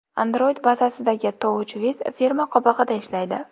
Android bazasidagi TouchWiz firma qobig‘ida ishlaydi.